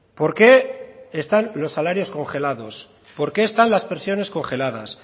por qué están los salarios congelados por qué están las pensiones congeladas